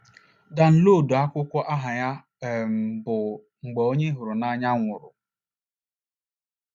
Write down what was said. Danloduo akwụkwọ aha ya um bụ “ Mgbe Onye Ị Hụrụ n’Anya Nwụrụ. ”